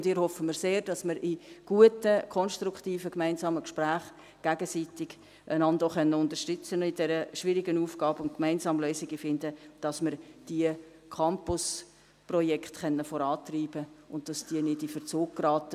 Und ich erhoffe mir sehr, dass wir einander in guten konstruktiven gemeinsamen Gesprächen auch gegenseitig unterstützen können bei dieser schwierigen Aufgabe und gemeinsam Lösungen finden, sodass wir diese Campusprojekte vorantreiben können und sie nicht in Verzug geraten.